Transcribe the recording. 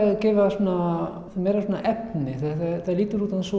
svona meira efni þetta lýtur út eins